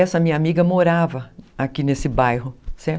Essa minha amiga morava aqui nesse bairro, certo?